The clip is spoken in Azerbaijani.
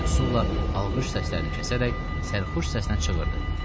Lakin Sulla alqış səslərini kəsərək sərxoş səsnə çığırdı: